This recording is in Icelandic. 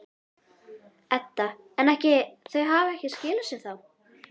Edda: En ekki, þau hafa ekki skilað sér þá?